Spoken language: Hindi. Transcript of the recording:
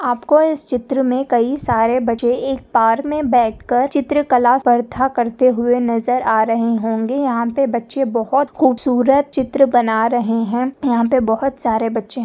आपको इस चित्रमें कई सारे बच्चे एक पार्क मैं बैठकर चित्रकला स्पर्धा करते हुए नजर आ रहे होंगे यहांपे बच्चे बहुत खूबसूरत चित्र बना रहे हैं यहांपे बहुत सारे बच्चे--